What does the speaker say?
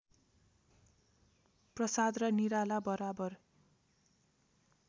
प्रसाद र निराला बराबर